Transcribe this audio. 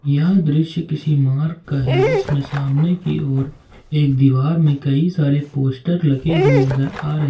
यह दृश्य किसी मार्ग का है जिसमें सामने की ओर एक दीवार में कई सारे पोस्टर लगे हुए नजर आ रहे--